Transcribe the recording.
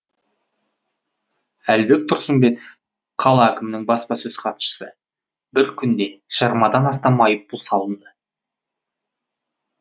әлібек тұрсымбетов қала әкімінің баспасөз хатшысы бір күнде жиырмадан астам айыппұл салынды